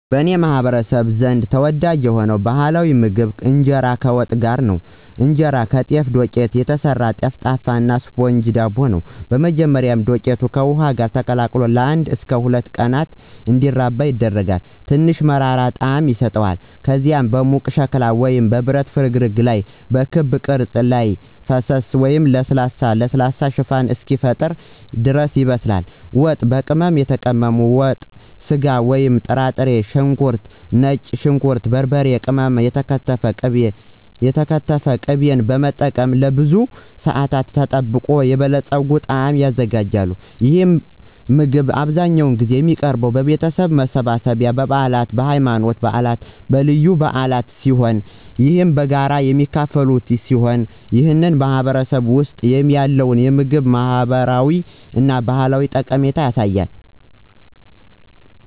በእኔ ማህበረሰብ ዘንድ ተወዳጅ የሆነው ባህላዊ ምግብ ኢንጄራ ከዋት ጋር ነው። እንጀራ ከጤፍ ዱቄት የተሰራ ጠፍጣፋ እና ስፖንጅ ዳቦ ነው። በመጀመሪያ, ዱቄቱ ከውሃ ጋር ተቀላቅሎ ለአንድ እስከ ሁለት ቀናት እንዲራባ ይደረጋል, ትንሽ መራራ ጣዕም ይሰጠዋል. ከዚያም በሙቅ ሸክላ ወይም በብረት ፍርግርግ ላይ በክብ ቅርጽ ላይ ፈሰሰ እና ለስላሳ እና ለስላሳ ሽፋን እስኪፈጠር ድረስ ያበስላል. ዋት፣ በቅመም የተቀመመ ወጥ ስጋ ወይም ጥራጥሬ፣ ሽንኩርት፣ ነጭ ሽንኩርት፣ በርበሬ ቅመም እና የተከተፈ ቅቤን በመጠቀም ለብዙ ሰአታት ተጠብቆ የበለፀገ ጣዕም ይዘጋጃል። ይህ ምግብ አብዛኛውን ጊዜ የሚቀርበው በቤተሰብ መሰብሰቢያ፣ በበዓላት፣ በሃይማኖታዊ በዓላት እና በልዩ በዓላት ሲሆን ይህም በጋራ የሚካፈሉበት ሲሆን ይህም በማህበረሰባችን ውስጥ ያለውን የምግብ ማህበራዊ እና ባህላዊ ጠቀሜታ ያሳያል።